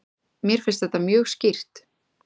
Mér finnst þetta mjög skýrt.